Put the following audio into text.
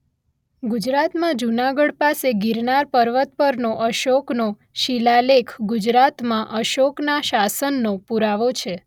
ગુજરાતમાં જુનાગઢ પાસે ગીરનાર પર્વત પરનો અશોકનો શિલાલેખ ગુજરાતમાં અશોકના શાસનનો પુરાવો છે